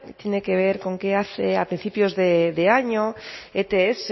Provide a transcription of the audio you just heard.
tiene que ver con que a principios de año ets